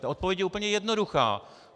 Ta odpověď je úplně jednoduchá.